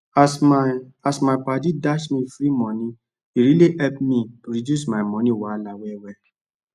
as my as my padi dash me free money e really epp me reduce my moni wahala well well